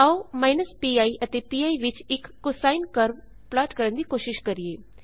ਆਓ pi ਅਤੇ pi ਵਿੱਚ ਇਕ ਕੋਸਾਈਨ ਕਰਵ ਪਲਾਟ ਕਰਨ ਦੀ ਕੋਸ਼ਿਸ਼ ਕਰਿਏ